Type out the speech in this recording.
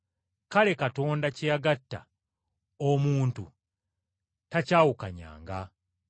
Noolwekyo Katonda be yagatta awamu, omuntu tabaawukanyanga.”